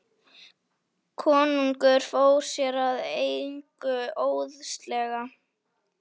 Konungur fór sér að engu óðslega.